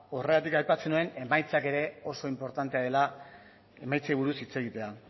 horregatik aipatzen nuen emaitzak oso inportantea dela emaitzei buruz hitz egitea